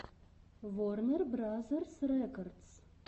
ворнер бразерс рекордс